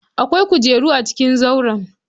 Akwai kujeru a cikin zauren.